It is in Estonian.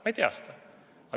Ma ei tea seda.